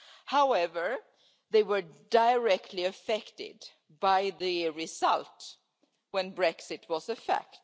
However, they were directly affected by the result when Brexit was a fact.